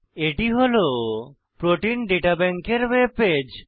এটি হল protein data bank এর ওয়েব পেজ